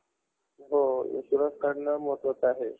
नाही ग मला नसतंय ना ते. काहीतरी open category वाल्यांनाच असतंय बघ. मी नाही भरत मग.